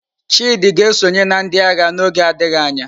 Chidi ga-esonye na ndị agha n'oge adịghị anya.